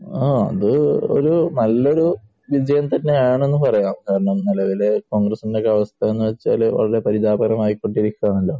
ആഹ്. അത് ഒരു നല്ല ഒരു വിജയം തന്നെയാണെന്ന് പറയാം. കാരണം നിലവിലെ കോൺഗ്രസ്സിന്റെ ഒരു അവസ്ഥയെന്ന് വെച്ചാൽ വളരെ പരിതാപകരമായിക്കൊണ്ടിരിക്കുകയാണല്ലോ.